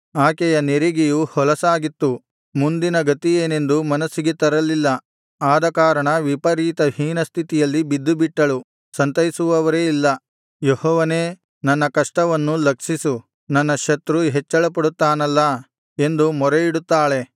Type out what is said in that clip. ಆಕೆಯ ನೆರಿಗೆಯು ಹೊಲಸಾಗಿತ್ತು ಮುಂದಿನ ಗತಿಯೇನೆಂದು ಮನಸ್ಸಿಗೆ ತರಲಿಲ್ಲ ಆದಕಾರಣ ವಿಪರೀತ ಹೀನಸ್ಥಿತಿಯಲ್ಲಿ ಬಿದ್ದು ಬಿಟ್ಟಳು ಸಂತೈಸುವವರೇ ಇಲ್ಲ ಯೆಹೋವನೇ ನನ್ನ ಕಷ್ಟವನ್ನು ಲಕ್ಷಿಸು ನನ್ನ ಶತ್ರು ಹೆಚ್ಚಳಪಡುತ್ತಾನಲ್ಲಾ ಎಂದು ಮೊರೆಯಿಡುತ್ತಾಳೆ